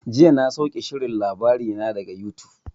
Jiya na sauke shirin labarina daga yutub.